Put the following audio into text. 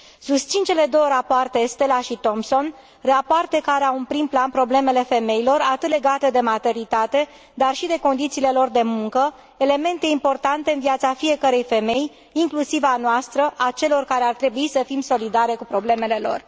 Susțin cele două rapoarte, Estrela și Thomsen, rapoarte care au în prim plan problemele femeilor, atât legate de maternitate, cât și de condițiile lor de muncă, elemente importante în viața fiecărei femei, inclusiv a noastră, a celor care ar trebui să fim solidare cu problemele lor.